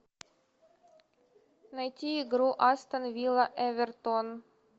найти игру астон вилла эвертон